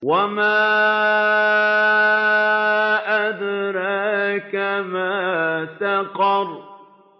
وَمَا أَدْرَاكَ مَا سَقَرُ